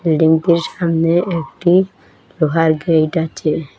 বিল্ডিংটির সামনে একটি লোহার গেইট আছে।